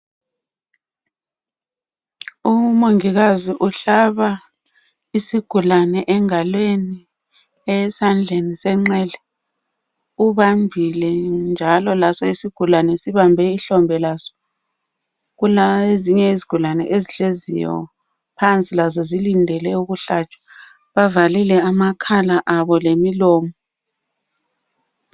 Umongikazi uhlaba isigulane engalweni esandleni senxele ubambile njalo laso isigulane sibambe ihlombe laso. Kulezinye izigulane ezihleziyo phansi lazo zilindele ukuhlatshwa bavalile amakhala abo lemilomo.